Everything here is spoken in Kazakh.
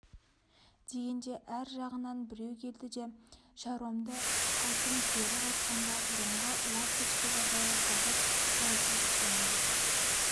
дегенде ар жағынан біреу келді де шаруамды айтым кері қайтқанда бұрынғы ласточка базары қазір производственное